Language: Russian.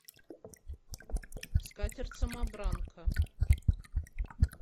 скатерть самобранка